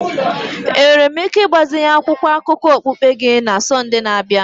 Enwere m ike ịgbazinye akwụkwọ akụkọ okpukpe gị na Sọnde na-abịa?